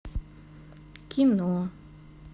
кино